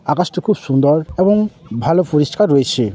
আকাশটা খুব সুন্দর এবং ভালো পরিষ্কার রয়েছে।